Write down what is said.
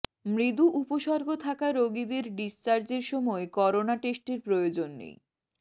মৃদু উপসর্গ থাকা রোগীদের ডিসচার্জের সময় করোনা টেস্টের প্রয়োজন নেই